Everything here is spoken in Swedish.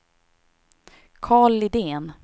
Karl Lidén